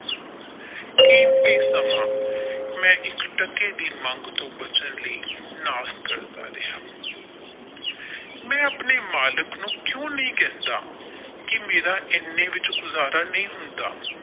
ਕੀਮਤੀ ਸਮਾਂ ਮੈ ਇੱਕ ਟਕੇ ਦੀ ਮੰਗ ਤੋਂ ਬੱਚਣ ਲਈ ਕਰਦਾ ਰਿਹਾ ਮੈਂ ਆਪਣੇ ਮਾਲਿਕ ਨੂੰ ਕਿਊ ਨਹੀਂ ਕਹਿੰਦਾ ਕਿ ਮੇਰਾ ਇਨ੍ਹੇ ਵਿੱਚ ਗੁਜ਼ਾਰਾ ਨਹੀਂ ਹੁੰਦਾ।